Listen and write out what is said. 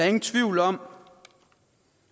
ingen tvivl om